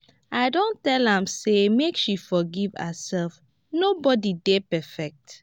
i don tell am sey make she forgive herself nobodi dey perfect.